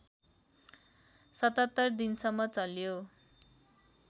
७७ दिनसम्म चल्यो